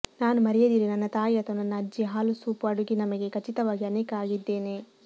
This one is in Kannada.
ನಾನು ಮರೆಯದಿರಿ ನನ್ನ ತಾಯಿ ಅಥವಾ ನನ್ನ ಅಜ್ಜಿ ಹಾಲು ಸೂಪ್ ಅಡುಗೆ ನಮಗೆ ಖಚಿತವಾಗಿ ಅನೇಕ ಆಗಿದ್ದೇನೆ